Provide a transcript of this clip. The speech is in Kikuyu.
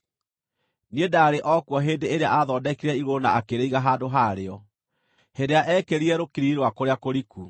Niĩ ndaarĩ o kuo hĩndĩ ĩrĩa aathondekire igũrũ na akĩrĩiga handũ ha rĩo, hĩndĩ ĩrĩa eekĩrire rũkiriri rwa kũrĩa kũriku,